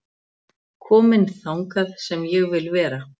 Kominn þangað sem ég vil vera